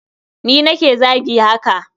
Ni nake zagi haka.